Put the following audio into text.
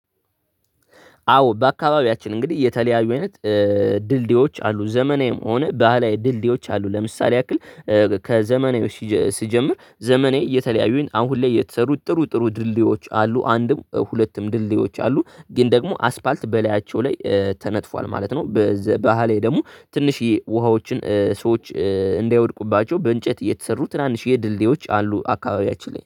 አዎ በአካባቢያችን እንግዲህ የተለያዩ አይነት ድልድዮች አሉ ዘመናዊም ሆን ባህላዊ ድልድዮች አሉ ለምሳሌ ያክል ከዘመናዊው ሲጀ ስጀምር ዘመናዊ የተለያዩ፣ አሁን ላይ የተሰሩ ጥሩ ጥሩ ድልድዮች አሉ። አንድም ሁለትም ድልድዮች አሉ፤ ግን ደግሞ አስፓልት በላያቸው ላይ ተነጥፏል ማለት ነው። በዘ ባህላዊ ደግሞ ትንሽዬ ውሃዎችን ሰዎች እንዳይወድቁባቸው በእንጨት የተሰሩ ትናንሽዬ ድልድዮች አሉ አካባቢያችን ላይ